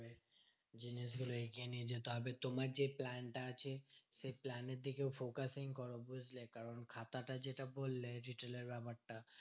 জিনিসগুলো এগিয়ে নিয়ে যেতে হবে। তোমার যে plan টা আছে, সেই plan এর দিকেও focusing করো বুঝলে? কারণ খাতাটা যেটা বললে retail এর ব্যাপারটা